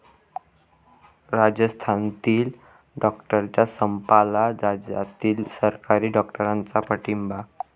राजस्थानातील डॉक्टरांच्या संपाला राज्यातील सरकारी डॉक्टरांचा पाठिंबा